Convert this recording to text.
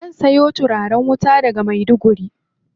Zan siyo turaren wuta daga Maiduguri.